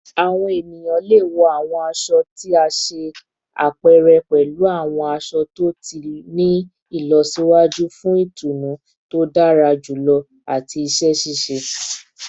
Awọn eniyan le wọ awọn aṣọ ti a ṣe apẹrẹ pẹlu awọn aṣọ to ti ni ilọsiwaju fun itunu to dara julọ ati iṣẹ ṣiṣe